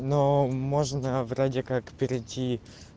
но можно вроде как перейти